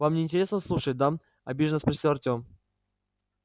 вам не интересно слушать да обиженно спросил артём